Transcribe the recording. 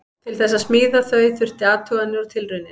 Til þess að smíða þau þurfti athuganir og tilraunir.